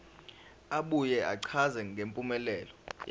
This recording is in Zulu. abuye achaze ngempumelelo